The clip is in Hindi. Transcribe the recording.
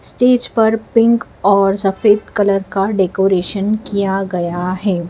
स्टेज पर पिंक और सफेद कलर का डेकोरेशन किया गया है।